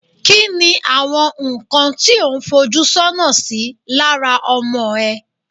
ki ni àwọn nkan tí o un foju sona sí lára ọmọ e